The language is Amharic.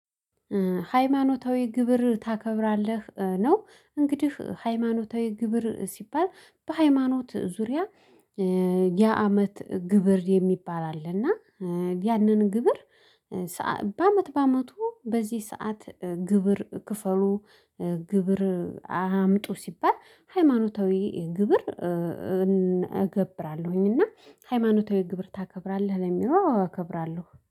ሃይማኖታዊ ግብር ታከብራለህ ነው እንግዲህ ሃይማኖታዊ ግብር ሲባል በሃይማኖት ዙሪያ። የአመት ግብር የሚባል አለ እና ያንን ግብር። በአመት በአመቱ በዚህ ሰዓት ግብር ክፈሉ ግብር አምጡ ሲባል ሃይማኖታዊ ግብር። እገብራለሁኝ እና ሃይማኖታዊ ግብር ታከብራለህ ለሚለው አከብራለሁ